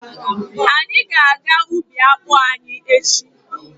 Anyị ga-aga ubi akpụ anyị echi.